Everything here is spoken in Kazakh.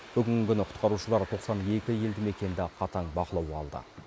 бүгінгі күні құтқарушылар тоқсан екі елді мекенді қатаң бақылауға алды